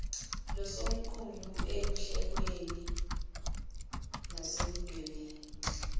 losomqulu ekuhleleni nasekudwebeni